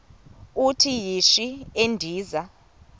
uthi yishi endiza